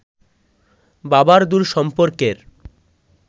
বাবার দূর সম্পর্কের